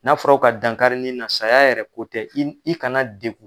N'a fɔra ko ka dankari ni na saya yɛrɛ ko tɛ, i kana degun